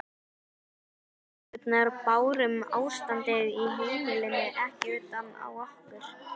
Við systurnar bárum ástandið á heimilinu ekki utan á okkur.